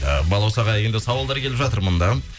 і балаусаға енді сауалдар келіп жатыр мында